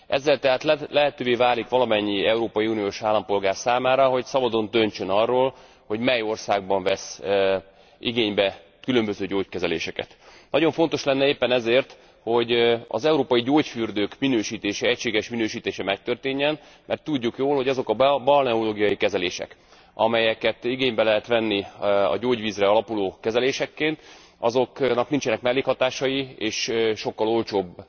Ezzel tehát lehetővé válik valamennyi európai uniós állampolgár számára, hogy szabadon döntsön arról, hogy mely országban vesz igénybe különböző gyógykezeléseket. Nagyon fontos lenne éppen ezért, hogy az európai gyógyfürdők egységes minősítése megtörténjen, mert tudjuk jól, hogy azoknak a balneológiai kezeléseknek, amelyeket igénybe lehet venni a gyógyvízre alapuló kezelésekként, azoknak nincsenek mellékhatásai, és sokkal olcsóbb